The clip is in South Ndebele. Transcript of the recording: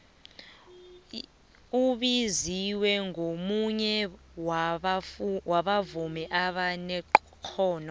ubiziwe ngomunye wabavumi abanexhono